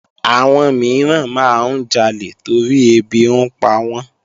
Àwọn mìíràn máa ń jalè torí ẹbí ń pawọ́n